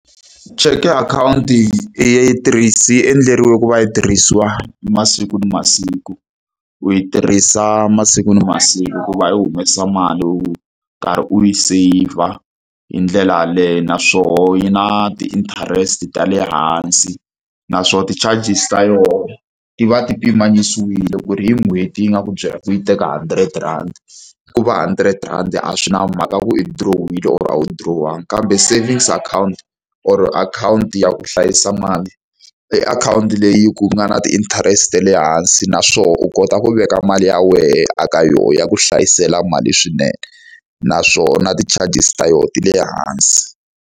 Cheke akhawunti yi yi endleriwe ku va yi tirhisiwa masiku na masiku, u yi tirhisa masiku na masiku ku va u humesa mali u karhi u yi seyivha hi ndlela yaleyo. Naswona yi na ti-interest ta le hansi, naswona ti-charges ta yona ti va ti pimanyisiwile ku ri hi n'hweti yi nga ku byela ku yi teka hundred rand. Ku va hundred rhandi a swi na mhaka ku i dirohile kumbe a wu dirowanga. Kambe savings account or akhawunti ya ku hlayisa mali, i akhawunti leyi ku nga na ti-interest ta le hansi naswona u kota ku veka mali ya wena a ka yona, ya ku hlayisela mali swinene. Naswona ti-charges ta yona ti le hansi.